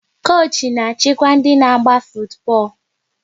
Koochi na-achịkwa ndị n'agba futu bọọlụ